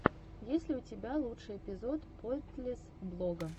есть ли у тебя лучший эпизод поинтлесс блога